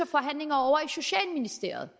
forhandlinger ovre i socialministeriet